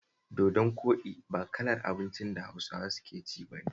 Dodon koɗi ba irin kalar abincin da Hausawa suke ci ba ne